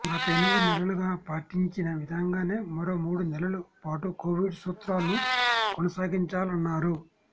గత ఎనిమిది నెలలుగా పాటించిన విధంగానే మరో మూడు నెలల పాటు కోవిడ్ సూత్రాలను కొనసాగించాలన్నారు